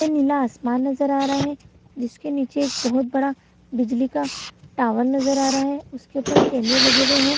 नीला आसमान नजर आ रहा है जिसके नीचे एक बहोत बडा बिजली का टावर नजर आ रहा है उसके ऊपर कैमरे लगे हुए हैं।